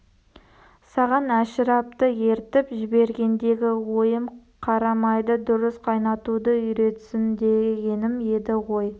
саған әшірапты ертіп жібергендегі ойым қарамайды дұрыс қайнатуды үйретсін дегенім еді ғой